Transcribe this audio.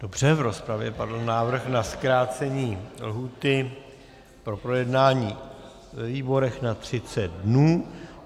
Dobře, v rozpravě padl návrh na zkrácení lhůty na projednání ve výborech na 30 dnů.